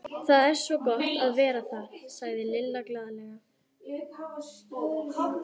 Það er svo gott að vera þar, sagði Lilla glaðlega.